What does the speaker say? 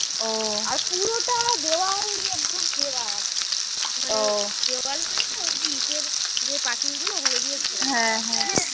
আর পুরো টা দেওয়াল দিয়ে একদম ঘেরা মানে দেওয়াল মানে যে পাচিল গুলো ওগুলো দিয়ে ঘেরা